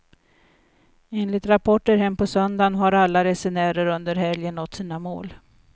Enligt rapporter hem på söndagen har alla resenärer under helgen nått sina mål.